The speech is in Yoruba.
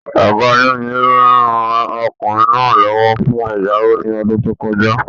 Ọgá ayani-lowo rán ọkùnrin náà l'ọwọ fún ẹyàwò ní ọdún to kọjá.